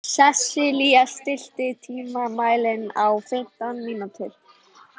Sesilía, stilltu tímamælinn á fimmtán mínútur.